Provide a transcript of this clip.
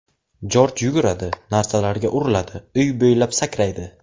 Jorj yuguradi, narsalarga uriladi, uy bo‘ylab sakraydi.